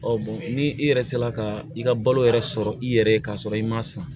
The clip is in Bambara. ni i yɛrɛ se la ka i ka balo yɛrɛ sɔrɔ i yɛrɛ ye ka sɔrɔ i ma san